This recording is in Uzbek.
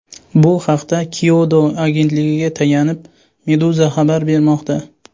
Bu haqda Kyodo agentligiga tayanib, Meduza xabar bermoqda .